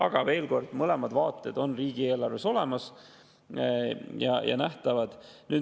Aga veel kord, mõlemad vaated on riigieelarves olemas ja nähtavad.